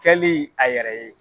Kɛli a yɛrɛ ye.